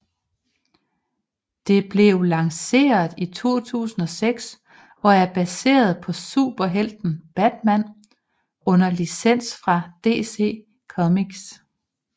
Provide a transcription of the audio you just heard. Det blev lanceret i 2006 og er baseret på superhelten Batman under licens fra DC Comics